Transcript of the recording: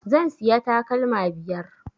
Zan siya takalma biyar